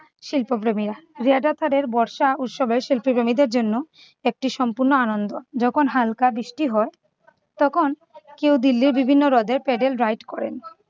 শিল্পপ্রেমীরা। বর্ষা উৎসবের শিল্পকর্মীদের জন্য একটি সম্পূর্ণ আনন্দ। যখন হালকা বৃষ্টি হয় তখন কেউ দিল্লির বিভিন্ন হ্রদে paddle ride করেন।